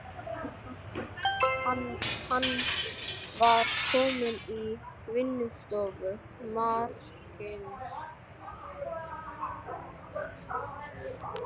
Hann var kominn í vinnustofu magistersins.